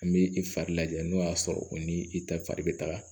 An bɛ i fari lajɛ n'o y'a sɔrɔ o ni i ta fari bɛ taga